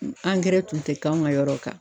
Angɛrɛ tun tɛ k'anw ka yɔrɔ kan